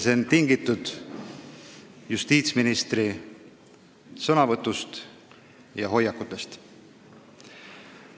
See on tingitud justiitsministri sõnavõtust ja hoiakutest.